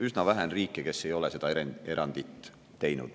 Üsna vähe on riike, kes ei ole seda erandit teinud.